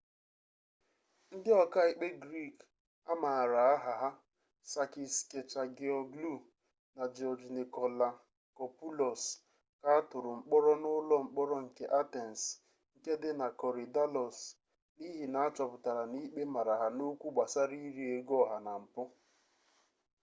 ndị ọka ikpe grik amaara aha ha sakis kechagioglou na jiọj nikolakopoulos ka atụrụ mkpọrọ n'ụlọ mkpọrọ nke atens nke dị na korydallus n'ihi na achọpụtara na ikpe mara ha n'okwụ gbasara iri ego oha na mpu